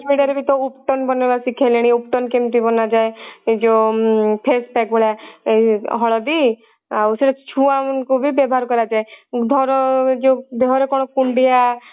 media ରେ ବି ତ ubtan ବନେଇବା ଶିଖେଇଲେଣି ubtan କେମିତି ବନାଯାଏ ଯଉ ଉଁ face pack ଭଳିଆ ଏଇ ହଳଦି ଆଉ ସେଟା ଛୁଆ ମାନଙ୍କୁ ବି ବ୍ୟବହାର କରାଯାଏ ଧର ଯଉ ଦେହ ର କଣ କୁଣ୍ଡିଆ